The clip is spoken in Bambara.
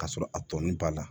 Ka sɔrɔ a tɔɔni b'a la